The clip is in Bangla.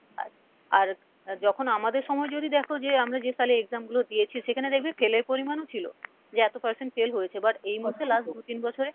আর আর আহ যখন আমদের সময় যদি দেখো যে আমরা যে সালে exam গুলো দিয়েছি সেখানে দেখবে fail এর পরিমাণও ছিলো যে এত percent fail হয়েছে but এই মুহূর্তে last দু তিন বছরে,